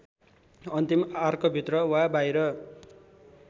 अन्तिम आर्कभित्र वा बाहिर